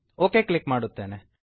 okay click ಮಾಡುತ್ತೇನೆ